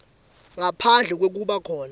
ngaphandle kwekuba khona